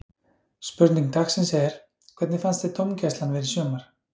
Spurning dagsins er: Hvernig fannst þér dómgæslan vera í sumar?